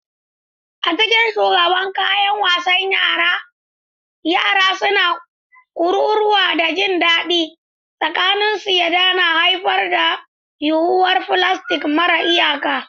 A cikin shagunan kayan wasan yara, yara suna kururuwa da jin daɗi, tunaninsu ya haifar da yuwuwar filastik mara iyaka.